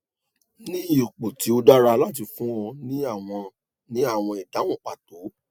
ni ipo ti o dara lati fun ọ ni awọn ni awọn idahun pato